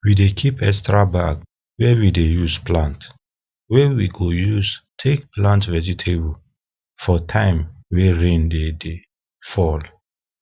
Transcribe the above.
we dey keep extra bag wey we dey use plant wey we go use take plant vegatable for time wey rain dey dey fall